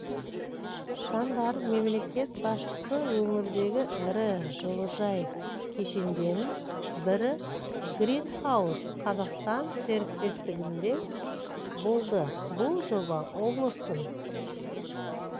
жандар мемлекет басшысы өңірдегі ірі жылыжай кешендерінің бірі гринхаус қазақстан серіктестігінде болды бұл жоба облыстың